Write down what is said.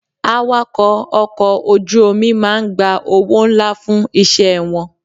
Awakọ̀ ọkọ̀ ojú omi máa ń gba owó ńlá fún iṣẹ́ wọn.